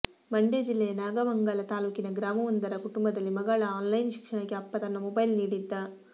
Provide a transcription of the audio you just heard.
ಮಂಡ್ಯ ಜಿಲ್ಲೆಯ ನಾಗಮಂಗಲ ತಾಲೂಕಿನ ಗ್ರಾಮವೊಂದರ ಕುಟುಂಬದಲ್ಲಿ ಮಗಳ ಆನ್ಲೈನ್ ಶಿಕ್ಷಣಕ್ಕೆ ಅಪ್ಪ ತನ್ನ ಮೊಬೈಲ್ ನೀಡಿದ್ದ